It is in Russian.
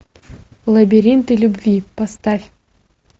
лабиринты любви поставь